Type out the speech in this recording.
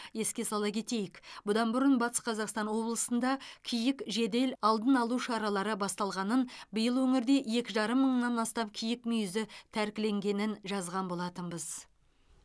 еске сала кетейік бұдан бұрын батыс қазақстан облысында киік жедел алдын алу шаралары басталғанын биыл өңірде екі жарым мыңнан астам киік мүйізі тәркіленгенін жазған болатынбыз